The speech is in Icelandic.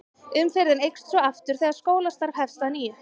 Umferðin eykst svo aftur þegar skólastarf hefst að nýju.